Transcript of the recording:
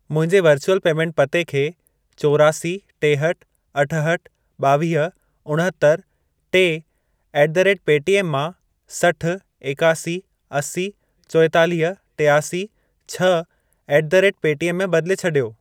मुंहिंजे virtual payment पते खे चोरासी, टेहठि, अठहठि, ॿावीह, उणहतरि, टे ऍट द रेट पेटीएम मां सठ, एकासी, असी, चोएतालीह, टियासी, छह ऍट द रेट पेटीएम में बदिले छॾियो।